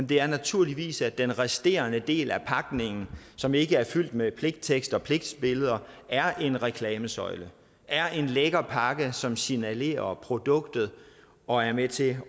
det er naturligvis at den resterende del af pakningen som ikke er fyldt med pligttekst og pligtbilleder er en reklamesøjle er en lækker pakke som signalerer om produktet og er med til